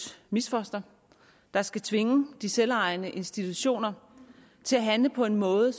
misfoster der skal tvinge de selvejende institutioner til at handle på en måde